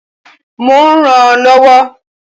Mo rànán lọ́wọ́.